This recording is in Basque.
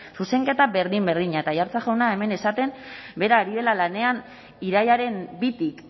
zuzenketa berdin berdina eta aiartza jauna hemen esaten bera ari dela lanean irailaren bitik